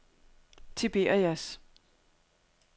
Tiberias